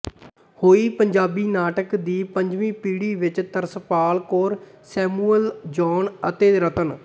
ਹੋਈ ਪੰਜਾਬੀ ਨਾਟਕ ਦੀ ਪੰਜਵੀਂ ਪੀੜ੍ਹੀ ਵਿੱਚ ਤਰਸਪਾਲ ਕੌਰ ਸੈਮੂਅਲ ਜੌਨ ਅਤੇ ਰਤਨ